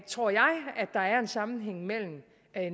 tror jeg at der er en sammenhæng mellem